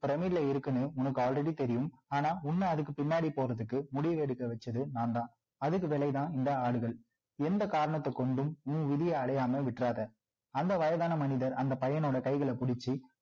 இருக்குன்னு உனக்கு already தெரியும் ஆனா உன்ன அதுக்கு பின்னாடி போறதுக்கு முடிவு எடுக்க வச்சது நான் தான் அதுக்கு விலை தான் இந்த ஆடுகள் எந்த காரணத்த கொண்டும் உன் விதிய அடையாம விட்டுறாத அந்த வயதான மனிதர் அந்த பையனோட கைகளை பிடிச்சி